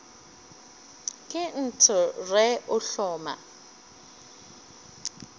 ke nt re o hloma